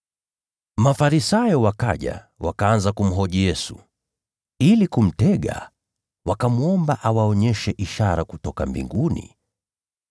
Mafarisayo wakaja, wakaanza kumhoji Yesu. Ili kumtega, wakamwomba awaonyeshe ishara kutoka mbinguni.